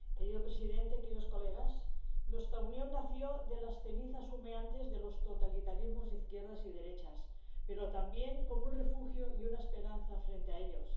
Señor presidente, queridos colegas, nuestra Unión nació de las cenizas humeantes de los totalitarismos de izquierdas y derechas, pero también como un refugio y una esperanza frente a ellos.